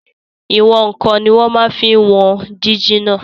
Ìwọ̀n-ǹkan ní wọ́n máa n fi wọn jíjìnà